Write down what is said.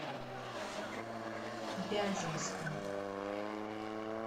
вяземском